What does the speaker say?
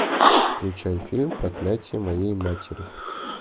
включай фильм проклятие моей матери